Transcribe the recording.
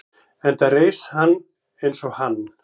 enda reis hann eins og hann